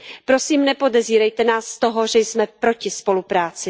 Prosím nepodezírejte nás z toho, že jsme proti spolupráci.